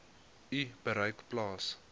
u bereik plaas